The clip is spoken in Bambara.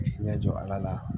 Ɲɛ jɔ ala